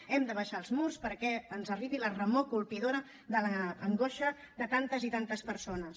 hem d’abaixar els murs perquè ens arribi la remor colpidora de l’angoixa de tantes i tantes persones